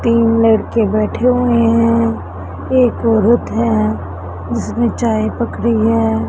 तीन लड़के बैठे हुए हैं एक औरत है जिसने चाय पकड़ी है।